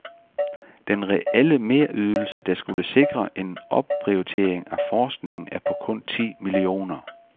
Den reelle merydelse, der skulle sikre en opprioritering af forskningen er på kun ti millioner.